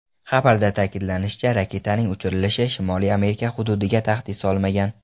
Xabarda ta’kidlanishicha, raketaning uchirilishi Shimoliy Amerika hududiga tahdid solmagan.